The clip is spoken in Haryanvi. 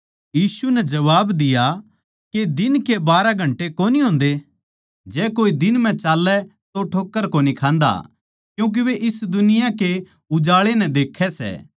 यीशु नै जबाब दिया के दिन के बारहा घन्टे कोनी होंदे जै कोए दिन म्ह चाल्लै तो ठोक्कर कोनी खान्दा क्यूँके वे इस दुनिया के उजाळै नै देक्खै सै